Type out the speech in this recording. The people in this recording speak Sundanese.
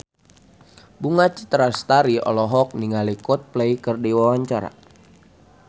Bunga Citra Lestari olohok ningali Coldplay keur diwawancara